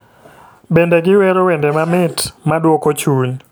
Bende giwero wende mamit maduoko chuny .